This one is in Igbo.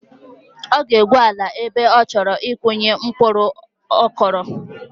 Ọ ga-egwu ala ebe ọ chọrọ ịkụnye mkpuru kọrụ